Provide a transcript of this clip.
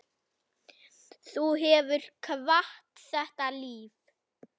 Þú hefur kvatt þetta líf.